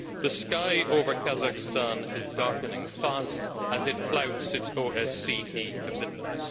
The sky over Kazakhstan is darkening fast as it flouts its OSCE commitments.